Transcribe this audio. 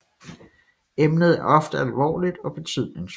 Emnet er ofte alvorligt og betydningsfuldt